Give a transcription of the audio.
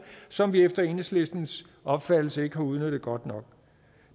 som vi efter enhedslistens opfattelse ikke har udnyttet godt nok